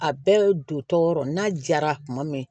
A bɛɛ don tɔɔrɔ n'a jara kuma min